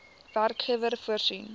werkgewer voorsien